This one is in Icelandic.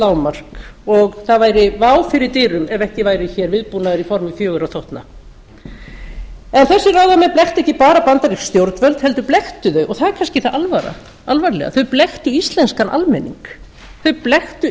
lágmark og það væri vá fyrir dyrum ef ekki væri hér viðbúnaður í formi fjögurra þotna en þessir ráðamenn blekktu ekki bara bandarísk stjórnvöld heldur blekktu þeir og það er kannski það alvarlega þeir blekktu